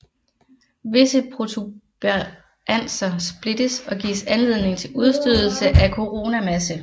Visse protuberanser splittes og giver anledning til udstødelse af koronamasse